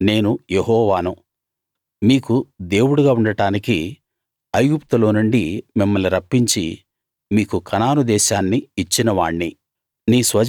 నేను యెహోవాను మీకు దేవుడుగా ఉండడానికి ఐగుప్తులోనుండి మిమ్మల్ని రప్పించి మీకు కనాను దేశాన్ని ఇచ్చిన వాణ్ణి